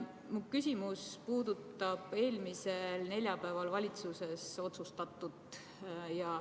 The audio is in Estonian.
Mu küsimus puudutab eelmisel neljapäeval valitsuses otsustatut.